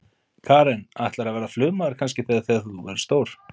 Karen: Ætlarðu að verða flugmaður kannski þegar þú verður stór?